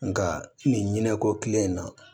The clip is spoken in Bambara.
Nka nin ɲinɛ ko kile in na